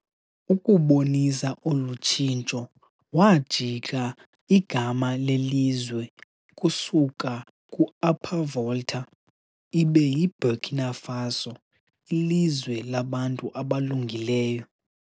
Ukubonisa olutshintsho wajika igama lelizwe kusuka ku-Upper Volta ibe yiBurkina Faso, ilizwe labantu abalungileyo.